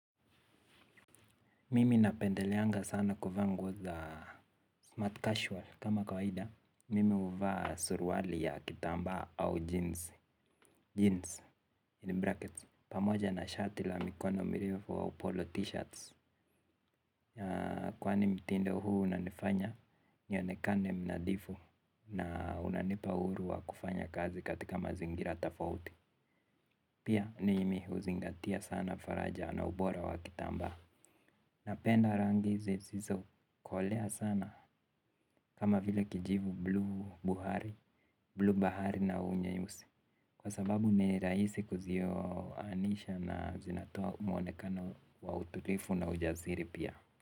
Mimi napendeleanga sana kuvaa nguo za smart casual kama kawaida. Mimi huvaa surauli ya kitambaa au jeans. Jeans in brackets pamoja na shati la mikono mirefu au polo t-shirts. Kwani mtindo huu unanifanya nionekane mnadhifu. Na unanipa uhuru wa kufanya kazi katika mazingira tofauti. Pia ni mimi huzingatia sana faraja na ubora wa kitambaa. Napenda rangi zisizo kolea sana kama vile kijivu bluu buhari bluu bahari na unyeusi. Kwa sababu ni rahisi kuzioanisha na zinatoa mwonekano wa utulivu na ujasiri pia.